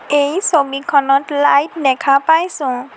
এই ছবিখনত লাইট দেখা পাইছোঁ।